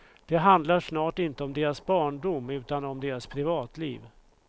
Det handlar snart inte om deras barndom utan om deras privatliv.